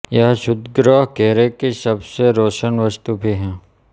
यह क्षुद्रग्रह घेरे की सब से रोशन वस्तु भी है